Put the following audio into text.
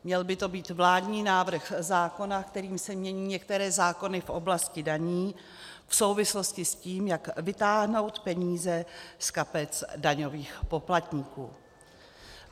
Měl by to být vládní návrh zákona, kterým se mění některé zákony v oblasti daní v souvislosti s tím, jak vytáhnout peníze z kapes daňových poplatníků.